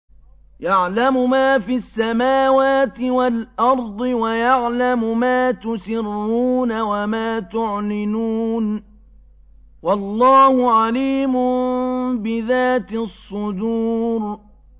يَعْلَمُ مَا فِي السَّمَاوَاتِ وَالْأَرْضِ وَيَعْلَمُ مَا تُسِرُّونَ وَمَا تُعْلِنُونَ ۚ وَاللَّهُ عَلِيمٌ بِذَاتِ الصُّدُورِ